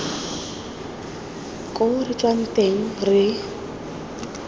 ko re tswang teng re